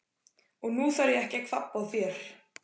Og nú þarf ég að kvabba á þér!